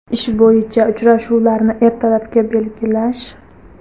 Ish bo‘yicha uchrashuvlarni ertalabga belgilash.